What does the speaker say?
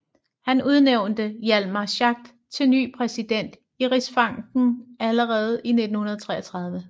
Han udnævnte Hjalmar Schacht til ny præsident i Rigsbanken allerede i 1933